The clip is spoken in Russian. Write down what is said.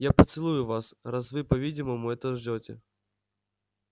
я поцелую вас раз вы по-видимому этого ждёте